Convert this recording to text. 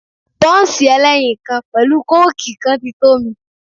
Bọ́ǹsì ẹlẹ́yin kan pẹ̀lú kóòkì kan ti tó mi.